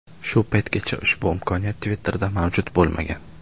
Shu paytgacha ushbu imkoniyat Twitter’da mavjud bo‘lmagan.